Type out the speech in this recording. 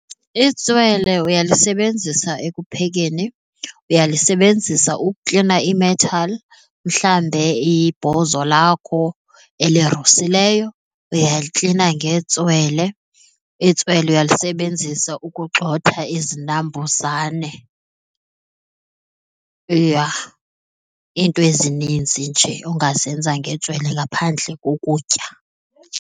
Itswele uyalisebenzisa ekuphekeni, uyalisebenzisa uklina ii-metal mhlambe ibhozo lakho elirusileyo, uyaliklina ngentswele. Itswele uyalisebenzisa ukugxotha izinambuzane iinto ezininzi nje ongazenza ngentswele ngaphandle kokutya.